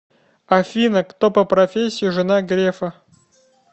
афина кто по профессии жена грефа